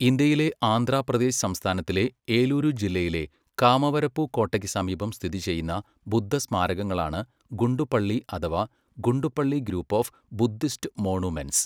ഇന്ത്യയിലെ ആന്ധ്രാപ്രദേശ് സംസ്ഥാനത്തിലെ ഏലൂരു ജില്ലയിലെ കാമവരപുകോട്ടയ്ക്ക് സമീപം സ്ഥിതി ചെയ്യുന്ന ബുദ്ധസ്മാരകങ്ങളാണ് ഗുണ്ടുപള്ളി അഥവാ Guntupalli group of Buddhist monuments.